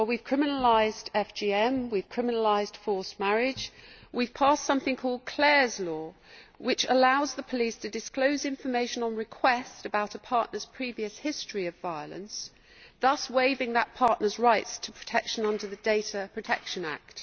Well, we have criminalised FGM, we have criminalised forced marriage, we have passed something called Clare's Law, which allows the police to disclose information on request about a partner's previous history of violence, thus waiving that partner's rights to protection under the Data Protection Act.